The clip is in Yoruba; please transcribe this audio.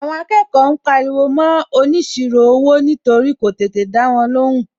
Àwọn akẹ́kọ̀ọ́ ń pariwo mọ́ óniṣirò owó nítorí kò tètè dáwọn lóhùn.